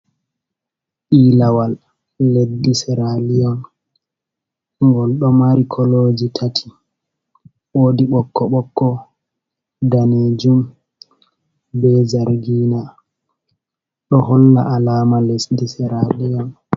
Ilawal lesdi Seraliyon. Ngol ɗo mari koloji tati. Wodi bokko bokko, danejum be zargina. Ɗo holla alama lesdi Seraliyon.